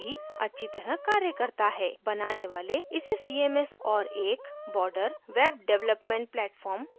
बनाने वाले इसे cms और एक बॉर्डर web development platform दोनों तरह से उपयोग कर सकते हैं